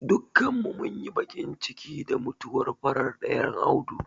Dukkanin mu munyi baƙin ciki da mutuwar farar ɗayan Audu.